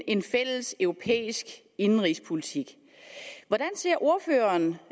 en fælles europæisk indenrigspolitik hvordan ser ordføreren